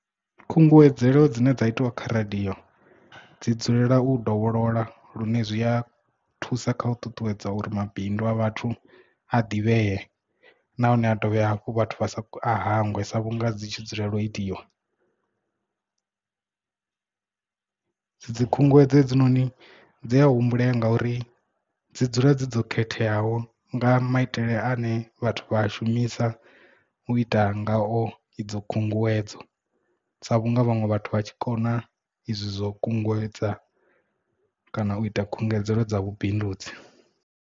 Khunguwedzelo dzine dza itiwa kha radio dzi dzulela u dovholola lune zwi a thusa kha u ṱuṱuwedza uri mabindu a vhathu a ḓivhee nahone a dovhe hafhu vhathu vha sa hangwe sa vhunga dzi tshi dzula itiwa. Dzi khunguwedzo hedzinoni dzi a humbule nga uri dzi dzula dzi dzo khetheaho nga maitele ane vhathu vha a shumisa u ita ngao idzo khunguwedzo sa vhunga vhanwe vhathu vha tshi kona izwi zwo kunguwedza kana u ita khungedzelo dza vhubindudzi.